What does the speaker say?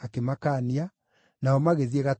nao magĩthiĩ gatũũra kangĩ.